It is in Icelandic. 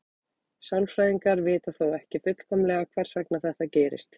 Sálfræðingar vita þó ekki fullkomlega hvers vegna þetta gerist.